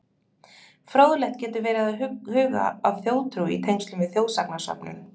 Fróðlegt getur verið að huga að þjóðtrú í tengslum við þjóðsagnasöfnun.